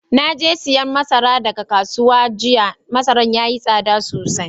Na je siyan masara daga kasuwa jiya. Masaran yayi sada sosai.